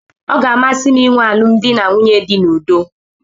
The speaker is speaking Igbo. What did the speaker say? ọ ga-amasị m ịnwe alụmdi na nwunye dị n'udo